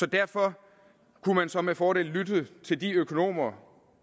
derfor kunne man så med fordel lytte til de økonomer